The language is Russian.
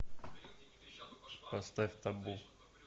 поставь табу